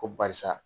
Ko barisa